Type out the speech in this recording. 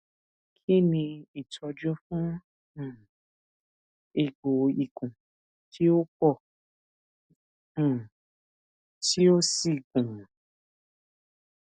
kini itọju fun um egbo ikun ti o pọ um ti o si gunun